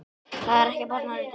Það er ekki bara röddin.